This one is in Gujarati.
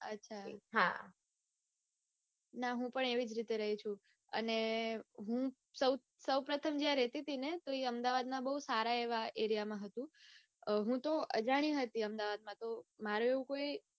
અચ્છા. હા. ના હું પણ એવી જ રીતે રાઈ છું અને હું સૌ પ્રથમ જ્યાં રેતી તી ને તો ઈ એવા aria માં હતું. હૂતો અજાણી હતી અમદાવાદમાં તો મારે એવું કોઈ